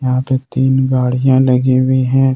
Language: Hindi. यहां पे तीन गाड़ियां लगी हुई हैं।